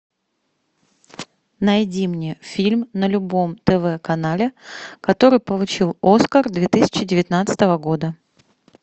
найди мне фильм на любом тв канале который получил оскар две тысячи девятнадцатого года